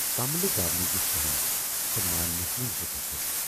کملہِ گَو نہٕ یہِ سہم تہٕ ماننس نہٕ زٕ کتَھٕ۔